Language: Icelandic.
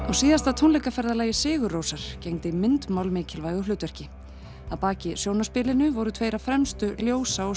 á síðasta tónleikaferðalagi SigurRósar gegndi myndmál mikilvægu hlutverki að baki voru tveir af fremstu ljósa og